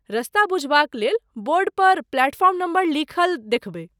रस्ता बुझबाक लेल बोर्ड पर प्लेटफॉर्म नम्बर लिखल देखबै।